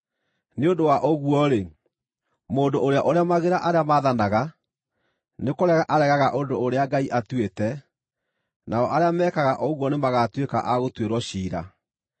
Nĩ ũndũ wa ũguo-rĩ, mũndũ ũrĩa ũremagĩra arĩa maathanaga, nĩkũrega aregaga ũndũ ũrĩa Ngai atuĩte, nao arĩa mekaga ũguo nĩmagatuĩka a gũtuĩrwo ciira.